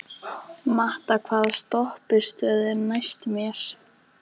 Matta, hvaða stoppistöð er næst mér?